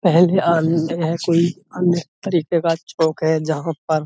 पहले कोई अन्य तरीके का चौक है जहाँ पर--